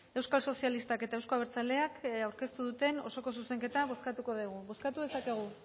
euskal sozialistak eta euzko abertzaleak aurkeztu duten osoko zuzenketa bozkatuko dugu bozkatu dezakegu